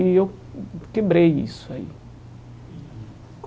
E eu quebrei isso aí.